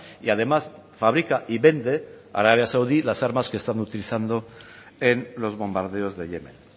y además fabrica y vende a arabia saudí las armas que están utilizando en los bombardeos de yemen